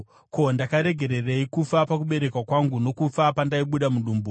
“Ko, ndakaregererei kufa pakuberekwa kwangu, nokufa pandaibuda mudumbu?